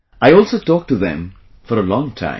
I also talked to them for a long time